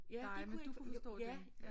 Ja de kunne ikke ja